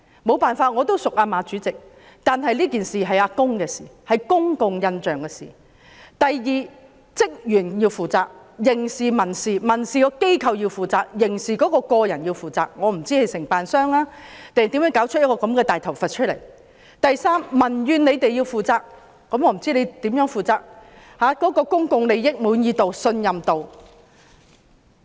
雖然我和馬主席相熟，但這是公共印象的問題；第二，職員要負責，不論在刑事或民事方面，機構要民事負責，人員要刑事負責，我不知道是承辦商還是誰搞出這個"大頭佛"；第三，政府要平息民怨，我不知道政府要如何負責，保持市民的滿意度和信任度。